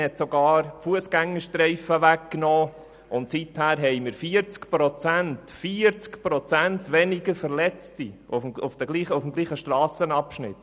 Man hat sogar die Fussgängerstreifen weggenommen, und seither haben wir 40 Prozent – 40 Prozent! – weniger Verletzte auf dem gleichen Strassenabschnitt.